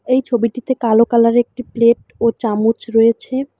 এই ছবিটিতে কালো কালার একটি প্লেট ও চামচ রয়েছে।